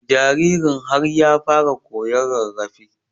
jaririn har ya fara koyan rarrafe